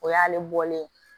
O y'ale bɔlen ye